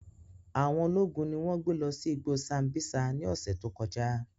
Awọn ologun ni wọn gbe lọ si igbo Sambisa ni ọsẹ to kọja.